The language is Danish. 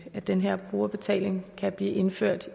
at den her brugerbetaling kan blive indført